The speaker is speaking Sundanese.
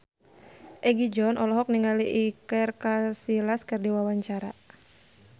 Egi John olohok ningali Iker Casillas keur diwawancara